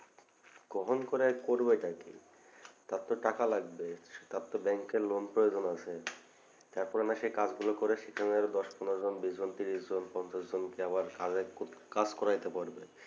গ্রহণ করে আর করবে টা কি তারতো টাকা লাগবে তারতো bank এ loan প্রয়োজন আছে তারপরে না সেই কাজ গুলো করে সেখানে আরও দশ পনেরো জন বিশ জন তিরিশ জন পঞ্চাশ জন কে আবার কাজের কাজ করাতে পারবে